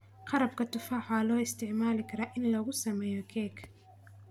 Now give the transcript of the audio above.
Qarabka tufaax waxaa loo isticmaali karaa in lagu sameeyo keke.